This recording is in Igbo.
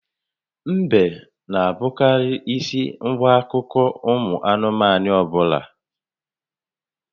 Ḿbè n'abụkarị ísì àgwà n'akụkọ ụmụ anụmanụ ọbụla